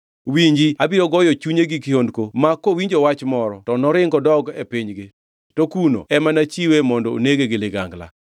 Winji! Abiro goyo chunye gi kihondko ma kowinjo wach moro to noring odog e pinygi, to kuno ema nachiwe mondo onege gi ligangla.’ ”